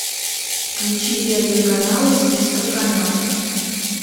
включи первый канал из списка каналов